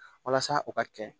Walasa o ka kɛ